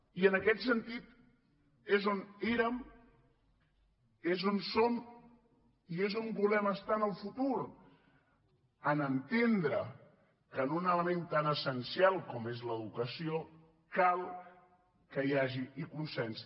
i en aquest sentit és on érem és on som i és on volem estar en el futur a entendre que en un element tan essencial com és l’educació cal que hi hagi consens